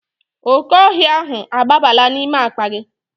Oke ohia ahu agbabala n'ime akpa gi